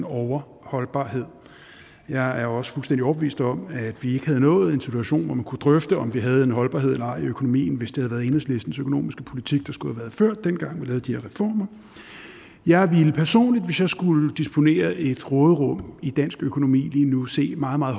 overholdbarhed jeg er også fuldstændig overbevist om at vi ikke havde nået en situation hvor man kunne drøfte om vi havde en holdbarhed eller ej i økonomien hvis det havde været enhedslistens økonomiske politik der skulle have været ført dengang vi lavede de her reformer jeg ville personligt hvis jeg skulle disponere et råderum i dansk økonomi lige nu se meget meget